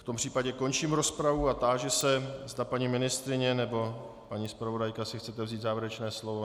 V tom případě končím rozpravu a táži se, zda paní ministryně nebo paní zpravodajka si chce vzít závěrečné slovo.